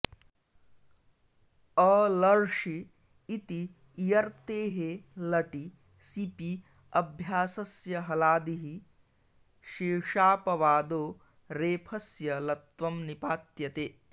अलर्षि इति इयर्तेः लटि सिपि अभ्यासस्य हलादिः शेषापवादो रेफस्य लत्वं निपात्यते